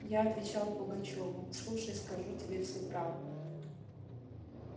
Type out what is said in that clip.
я отвечал пугачёву слушай скажу тебе всю правду